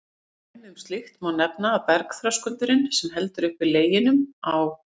Sem dæmi um slíkt má nefna að bergþröskuldurinn, sem heldur uppi Leginum á